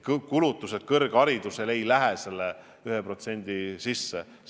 Ja kulutused kõrgharidusele ei lähe selle 1% sisse.